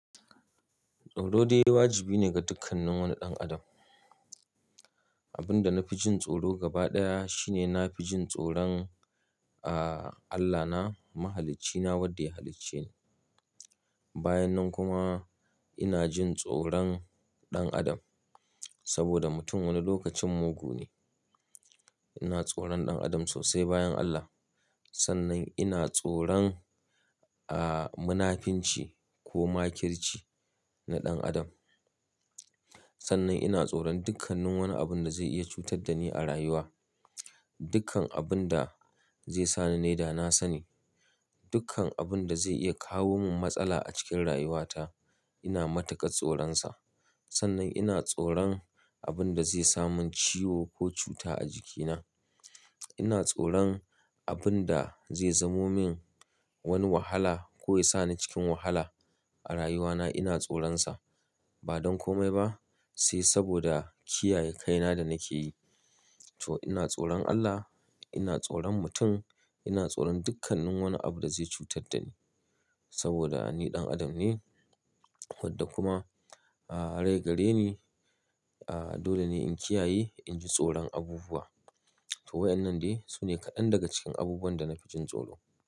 Tsoro dai wajibi ne ga dukkan wani ɗan adam. Abin da na fi jin tsoro gaba ɗaya shine na fi jin tsoron, ah, Allahna, Mahaliccina wadda ya halicce ni. Bayan nan kuma ina jin tsoron ɗan adam saboda mutum wani lokacin mugu ne. Ina tsoron ɗan adam sosai bayan Allah. Sannan ina tsoron, ah, munafinci ko makirci na ɗan adam. Sannan ina tsoron dukkanin wani abun da zai iya cutar da ni a rayuwa. Dukkan abun da zai sa ni na yi dana sani. Dukkan abun da zai iya kawo min matsala a cikin rayuwata ina mataka tsoronsa. Sannan ina tsoron abun da zai sa mun ciwo ko cuta a jikina. Ina tsoron abun da zai zamo min wani wahala ko ya sa ni cikin wahala a rayuwana ina tsoronsa. Ba don komai ba sai saboda kiyaye kaina da nake yi. To ina tsoron Allah, ina tsoron mutum, ina tsoron dukkanin wani abu da zai cutar da ni saboda ni ɗan adam ne wadda kuma, ah, rai gare ni. Ah, dole ne in kiyaye, in ji tsoron abubuwa. To waƴannan dai su ne kaɗan daga cikin abubuwan da na fi jin tsoro.